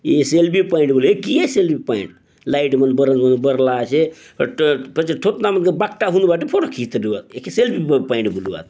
लाइट मन भरन हु बरला आछे फेर थोथना मन के बाकटा बनायी करी फोटो खिचते रहुआत एके सेल्फी पॉइंट बलुआत।